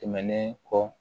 Tɛmɛnen kɔ